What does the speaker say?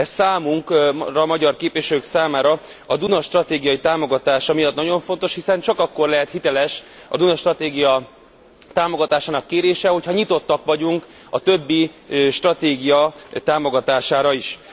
Ez számunkra, magyar képviselők számára, a Duna stratégia támogatása miatt nagyon fontos, hiszen csak akkor lehet hiteles a Duna stratégia támogatásának kérése, hogyha nyitottak vagyunk a többi stratégia támogatására is.